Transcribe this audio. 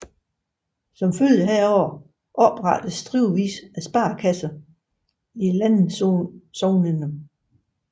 Som følge heraf oprettedes stribevis af sparekasser i landsognene